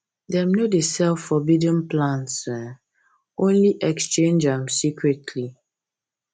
them no dey sell forbidden plants um only exchange am secretly